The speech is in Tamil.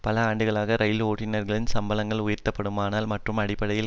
பல ஆண்டுகளாக இரயில் ஓட்டுனர்களின் சம்பளங்கள் உயர்த்தப்படாமலும் மற்றும் அடிப்படையில்